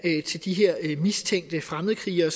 til de her mistænkte fremmedkrigere